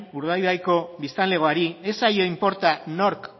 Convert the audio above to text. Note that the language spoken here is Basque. urdaibaiko biztanlegoari ez zaio inporta nork